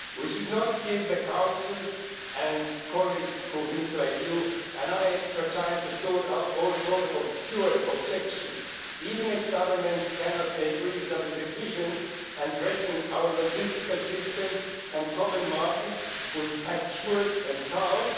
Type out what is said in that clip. We should not give the Council, and colleagues who think like you, more extra time to sort out all sorts of obscure objections, even if governments cannot make reasonable decisions and threaten our logistical systems and common markets with patchworks and chaos.